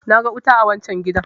na ga wuta a wancan gidan!